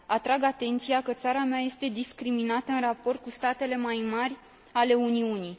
Atrag atenția că țara mea este discriminată în raport cu statele mai mari ale Uniunii.